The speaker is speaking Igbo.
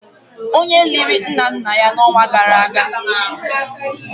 onye liri nna nna ya n'ọnwa gara aga